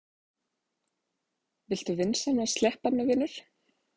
Viltu vinsamlegast sleppa mér, vinur!